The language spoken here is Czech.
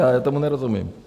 Já tomu nerozumím.